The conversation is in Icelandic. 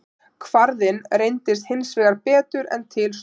Kvarðinn reyndist hins vegar betur en til stóð.